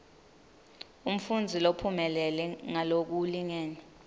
umfundzi lophumelele ngalokulingene